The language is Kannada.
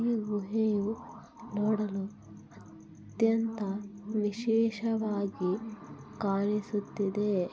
ಈ ಗುಹೆ ಇವು ನೋಡಲು ಅತ್ಯಂತ ವಿಶೇಷವಾಗಿ ಕಾಣಿಸುತ್ತಿದೆ .